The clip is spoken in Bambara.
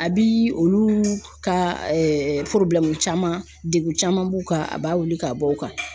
A bi olu ka caman degu caman b'u kan a b'a wuli ka bɔ u kan.